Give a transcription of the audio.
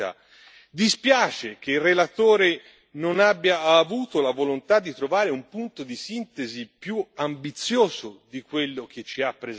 Dispiace che il relatore non abbia avuto la volontà di trovare un punto di sintesi più ambizioso di quello che ci ha presentato.